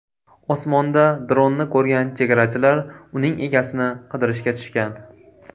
Osmonda dronni ko‘rgan chegarachilar uning egasini qidirishga tushgan.